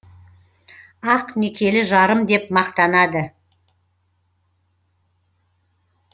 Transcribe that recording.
ақ некелі жарым деп мақтанады